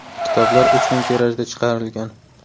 Kitoblar uch ming tirajda chiqarilgan.